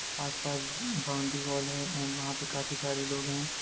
आस-पास boundary wall है and वहाँ पे काफी सारे लोग हैं।